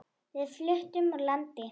Við fluttum úr landi.